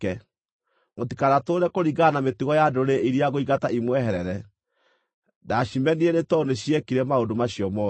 Mũtikanatũũre kũringana na mĩtugo ya ndũrĩrĩ iria ngũingata imweherere. Ndacimenire nĩ tondũ nĩciekire maũndũ macio mothe.